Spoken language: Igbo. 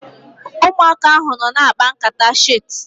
Ụmụaka ahu nọ na-akpa nkata chit